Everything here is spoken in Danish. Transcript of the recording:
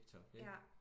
Tiktok ikke